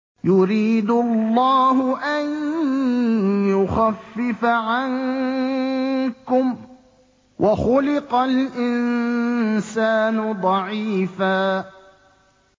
يُرِيدُ اللَّهُ أَن يُخَفِّفَ عَنكُمْ ۚ وَخُلِقَ الْإِنسَانُ ضَعِيفًا